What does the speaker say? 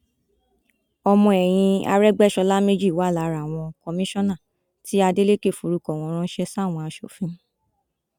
ọmọ ẹyìn arégbèsọlá méjì wà lára àwọn kọmíṣánná tí adeleke forúkọ wọn ránṣẹ sáwọn aṣòfin